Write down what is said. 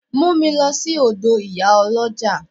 Mu mi lo si odo Iyaoloja!